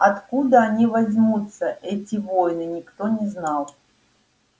откуда они возьмутся эти воины никто не знал